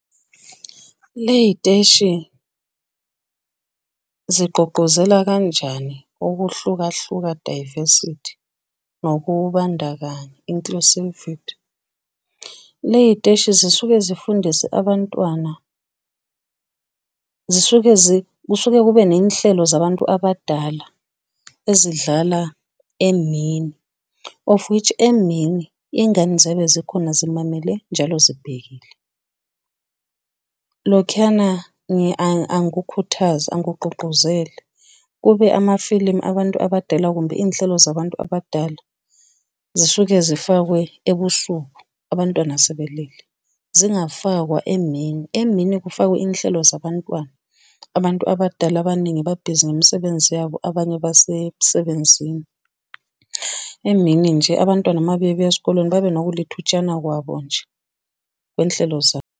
Ley'teshi, zigqugquzela kanjani ukuhlukahluka, diversity, nokubandakanya, inclusivity? Ley'teshi zisuke zifundise abantwana, zisuke kusuke kube ney'nhlelo zabantu abadala ezidlala emini of which emini iy'ngane zobe zikhona zimamele njalo zibhekile. Lokhuyana angikukhuthazi angikugqugquzeli, kube amafilimu abantu abadala kumbe iy'nhlelo zabantu abadala zisuke zifakwe ebusuku abantwana sebelele zingafakwa emini emini kufakwe iy'nhlelo zabantwana. Abantu abadala abaningi babhizi ngemisebenzi yabo abanye basemsebenzini. Emini nje abantwana mabebuya esikoleni babe nokulithutshana kwabo nje kwey'nhlelo zabo.